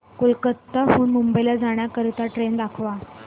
कोलकाता हून मुंबई ला जाणार्या ट्रेन दाखवा